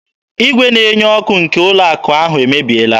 Igwe na-enye ọkụ nke ndị ụlọ akụ ahụ emebiela.